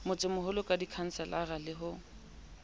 motsemoholo ka dikhanselara le ho